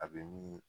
A bɛ ni